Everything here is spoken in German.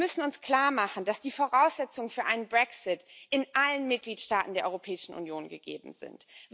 Wir müssen uns klarmachen, dass die Voraussetzungen für einen Brexit in allen Mitgliedstaaten der Europäischen Union gegeben sind.